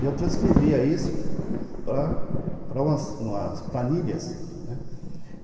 E eu transcrevia isso para para umas umas planilhas, né.